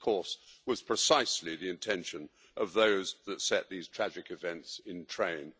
This, of course, was precisely the intention of those that set these tragic events in train.